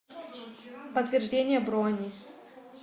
подтверждение брони